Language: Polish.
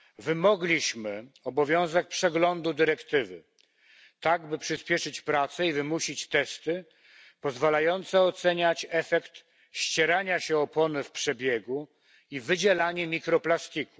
Wymogliśmy obowiązek przeglądu dyrektywy, tak by przyspieszyć prace i wymusić testy pozwalające oceniać efekt ścierania się opon w przebiegu i wydzielanie mikroplastiku.